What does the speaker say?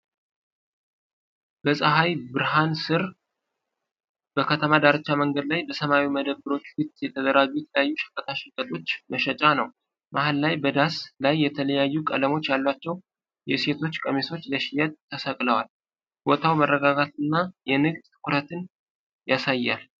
በፀሐይ ብርሃን ስር በከተማ ዳርቻ መንገድ ላይ፣ በሰማያዊ መደብሮች ፊት የተደራጁ የተለያዩ ሸቀጣ ሸቀጦች መሸጫ ነው። መሃል ላይ በዳስ ላይ የተለያዩ ቀለሞች ያሏቸው የሴቶች ቀሚሶች ለሽያጭ ተሰቅለዋል። ቦታው መረጋጋትንና የንግድ ትኩረትን ያሳያል።